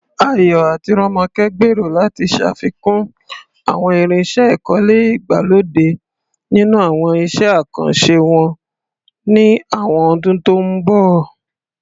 Ayo àti Ronke gbèrò láti ṣàfikún àwọn irinṣẹ́ ìkọ́lé ìgbàlódé nínú àwọn iṣẹ́ àkànṣe wọn ní àwọn ọdún tó ń bọ̀.